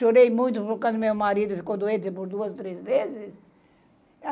Chorei muito por causa do meu marido que ficou doente por duas, três vezes.